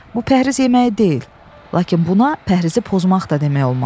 Bu pəhriz yeməyi deyil, lakin buna pəhrizi pozmaq da demək olmaz.